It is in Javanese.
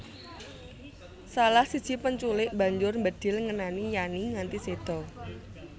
Salah siji penculik mbanjur mbedhil ngenani Yani nganti séda